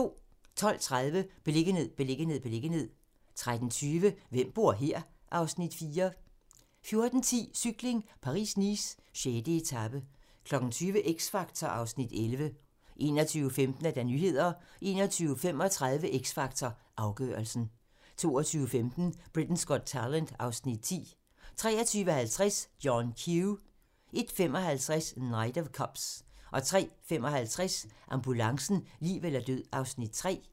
12:30: Beliggenhed, beliggenhed, beliggenhed 13:20: Hvem bor her? (Afs. 4) 14:10: Cykling: Paris-Nice - 6. etape 20:00: X Factor (Afs. 11) 21:15: Nyhederne 21:35: X Factor - afgørelsen 22:15: Britain's Got Talent (Afs. 10) 23:50: John Q 01:55: Knight of Cups 03:55: Ambulancen - liv eller død (Afs. 3)